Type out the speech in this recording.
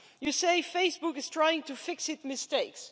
You say Facebook is trying to fix its mistakes.